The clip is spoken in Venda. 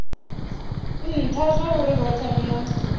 ntha zwauri rothe ri a